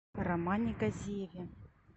романе газиеве